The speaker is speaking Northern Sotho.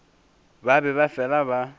ba be ba fela ba